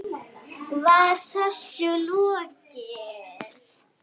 Var þessu lokið?